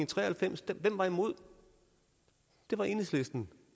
tre og halvfems hvem var imod det var enhedslisten